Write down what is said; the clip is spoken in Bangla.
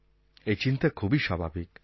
এই চিন্তা খুবই স্বাভাবিক